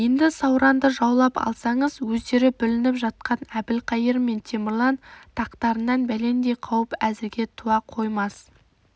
енді сауранды жаулап алсаңыз өздері бүлініп жатқан әбілқайыр мен темірлан тақтарынан бәлендей қауіп әзірге туа қоймас